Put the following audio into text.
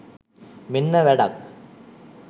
මෙන්න වැඩක්